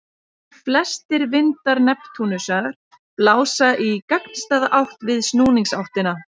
Flestir vindar Neptúnusar blása í gagnstæða átt við snúningsáttina.